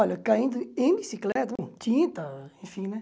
Olha, caindo em bicicleta, tinta, enfim, né?